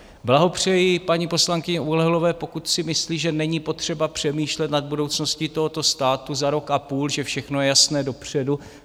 Blahopřeji paní poslankyni Oulehlové, pokud si myslí, že není potřeba přemýšlet nad budoucností tohoto státu za rok a půl, že všechno je jasné dopředu.